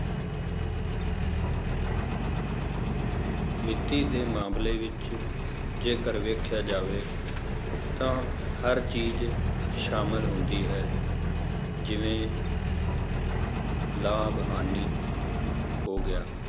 ਵਿੱਤੀ ਦੇ ਮਾਮਲੇ ਵਿੱਚ ਜੇਕਰ ਵੇਖਿਆ ਜਾਵੇ ਤਾਂ ਹਰ ਚੀਜ਼ ਸ਼ਾਮਿਲ ਹੁੰਦੀ ਹੈ, ਜਿਵੇਂ ਲਾਭ ਹਾਨੀ ਹੋ ਗਿਆ,